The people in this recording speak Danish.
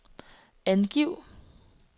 angiv